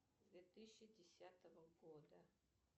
две тысячи десятого года